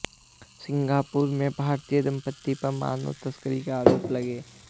Singapore में भारतीय दंपति पर मानव तस्करी के आरोप लगे